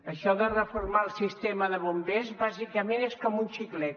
això de reformar el sistema de bombers bàsicament és com un xiclet